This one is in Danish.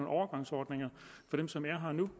overgangsordninger for dem som er her nu